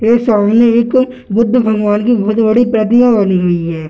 यह सामने एक बुद्ध भगवान के बहुत बड़ी प्रतिमा बनी हुई है ।